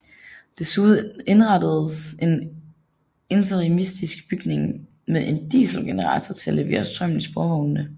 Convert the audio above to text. Desuden indrettedes en interimistisk bygning med en dieselgenerator til at levere strømmen til sporvognene